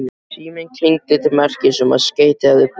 Síminn klingdi til merkis um að skeyti hefði borist.